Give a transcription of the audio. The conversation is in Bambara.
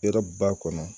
Hɛrɛ b'a kɔnɔ